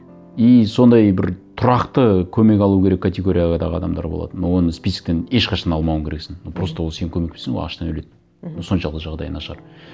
и сондай бір тұрақты көмек алу керек категориядағы адамдар болады но оны списоктен ешқашан алмауың керексің ну просто ол сен көмектеспесең ол аштан өледі мхм ну соншалықты жағдайы нашар